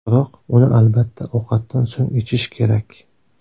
Biroq, uni albatta, ovqatdan so‘ng ichish kerak.